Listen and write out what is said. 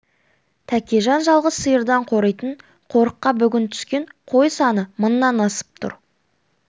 тәкежан жалғыз сиырдан қоритын қорыққа бүгін түскен қой саны мыңнан асып тұр